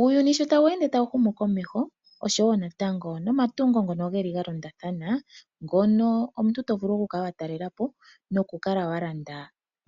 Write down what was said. Uuyuni sho tawu ende tawu humukomeho oshowo natango nomatungo ngono ga londathana, ngono omuntu to vulu okukala wa talela po nokukala wa landa